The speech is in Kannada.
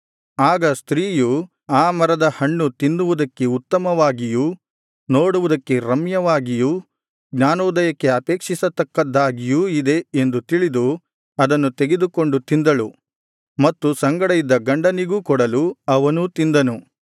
ಆಗ ಸ್ತ್ರೀಯು ಆ ಮರದ ಹಣ್ಣು ತಿನ್ನುವುದಕ್ಕೆ ಉತ್ತಮವಾಗಿಯೂ ನೋಡುವುದಕ್ಕೆ ರಮ್ಯವಾಗಿಯೂ ಜ್ಞಾನೋದಯಕ್ಕೆ ಅಪೇಕ್ಷಿಸತಕ್ಕದ್ದಾಗಿಯೂ ಇದೆ ಎಂದು ತಿಳಿದು ಅದನ್ನು ತೆಗೆದುಕೊಂಡು ತಿಂದಳು ಮತ್ತು ಸಂಗಡ ಇದ್ದ ಗಂಡನಿಗೂ ಕೊಡಲೂ ಅವನೂ ತಿಂದನು